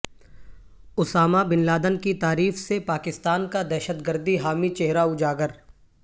Usama bin Laden کی تعریف سے پاکستان کا دہشت گردی حامی چہرہ اجاگر